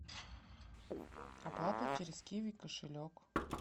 оплата через киви кошелек